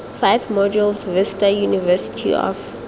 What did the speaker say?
five modules vista university of